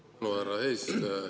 Suur tänu, härra eesistuja!